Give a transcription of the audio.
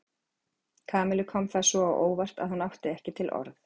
Kamillu kom það svo á óvart að hún átti ekki til orð.